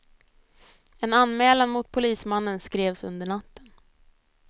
En anmälan mot polismannen skrevs under natten.